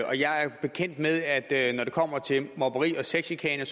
jeg er bekendt med at når det kommer til mobning og sexchikane